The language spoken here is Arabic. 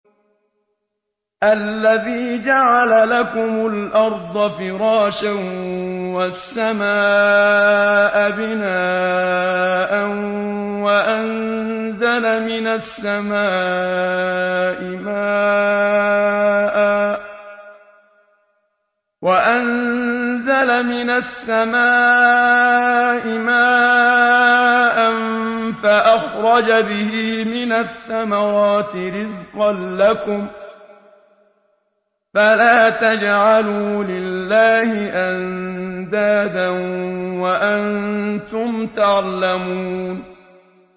الَّذِي جَعَلَ لَكُمُ الْأَرْضَ فِرَاشًا وَالسَّمَاءَ بِنَاءً وَأَنزَلَ مِنَ السَّمَاءِ مَاءً فَأَخْرَجَ بِهِ مِنَ الثَّمَرَاتِ رِزْقًا لَّكُمْ ۖ فَلَا تَجْعَلُوا لِلَّهِ أَندَادًا وَأَنتُمْ تَعْلَمُونَ